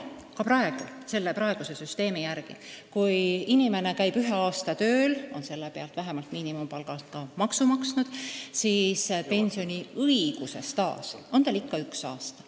Praeguse süsteemi järgi on nii, et kui inimene käib ühe aasta tööl ja on selle pealt vähemalt miinimumpalga alusel maksu maksnud, siis pensioniõiguse staaž on tal üks aasta.